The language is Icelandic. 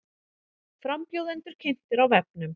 Frambjóðendur kynntir á vefnum